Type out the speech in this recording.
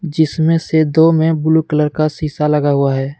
जिसमे से दो मे ब्लू कलर का शीशा लगा हुआ है।